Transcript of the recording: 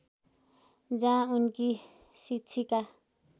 जहाँ उनकी शिक्षिका